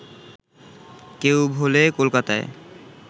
কেউ ভোলে কলকাতায়